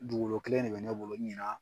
Dugukolo kelen de bɛ ne bolo ɲina